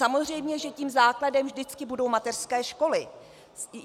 Samozřejmě že tím základem vždycky budou mateřské školy.